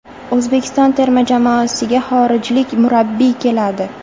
O‘zbekiston terma jamoasiga xorijlik murabbiy keladi.